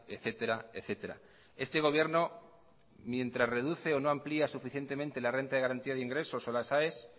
etcétera etcétera este gobierno mientras reduce o no amplia suficientemente la renta de garantía de ingresos o las aes